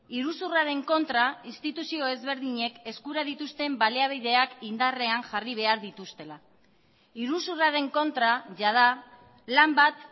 iruzurraren kontra instituzio ezberdinek eskura dituzten baliabideak indarrean jarri behar dituztela iruzurraren kontra jada lan bat